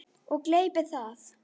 Og gleypir það.